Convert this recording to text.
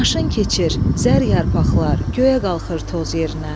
Maşın keçir, zər yarpaqlar göyə qalxır toz yerinə.